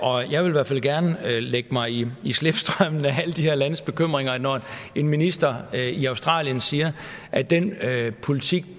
og jeg vil i hvert fald gerne lægge mig i slipstrømmen af alle de her landes bekymringer en minister i australien siger at den politik